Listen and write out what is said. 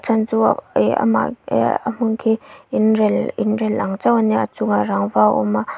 ehh a hmun khi inrel inrel ang chauh a ni a a chungah rangva awm a.